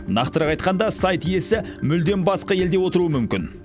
нақтырақ айтқанда сайт иесі мүлдем басқа елде отыруы мүмкін